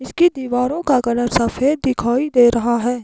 इसकी दीवारों का कलर सफेद दिखाई दे रहा है।